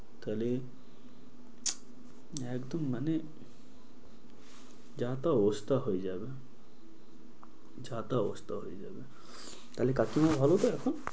তাহলে, একদম মানে, যা তা অবস্থা হয়ে যাবে। যা তা অবস্থা হয়ে যাবে। তাহলে কাকিমা ভালো তো এখন?